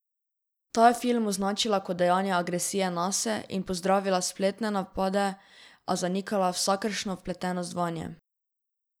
Ta je film označila kot dejanje agresije nase in pozdravila spletne napade, a zanikala vsakršno vpletenost vanje.